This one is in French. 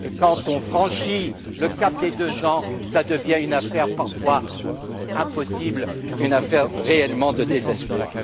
Et quand on franchit le cap des deux ans, cela devient une affaire parfois impossible, une affaire réellement de désespoir.